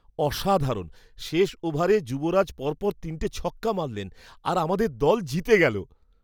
অসাধারণ! শেষ ওভারে যুবরাজ পরপর তিনটে ছক্কা মারলেন আর আমাদের দল জিতে গেলো।